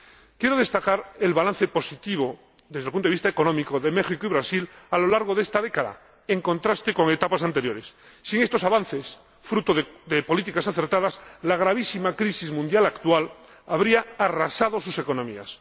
Quiero destacar el balance positivo, desde el punto de vista económico de México y Brasil a lo largo de esta década, en contraste con etapas anteriores. Sin estos avances, fruto de políticas acertadas, la gravísima crisis mundial actual habría arrasado sus economías.